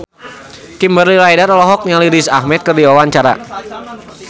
Kimberly Ryder olohok ningali Riz Ahmed keur diwawancara